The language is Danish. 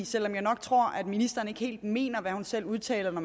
selv om jeg nok tror ministeren ikke helt mener hvad hun selv udtaler når